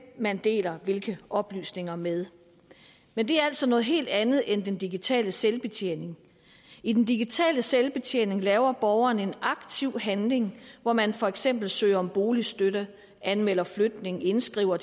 man deler hvilke oplysninger med men det er altså noget helt andet end den digitale selvbetjening i den digitale selvbetjening laver borgeren en aktiv handling hvor man for eksempel søger om boligstøtte anmelder flytning indskriver